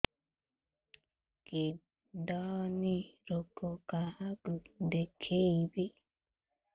kidney ରୋଗ କାହାକୁ ଦେଖେଇବି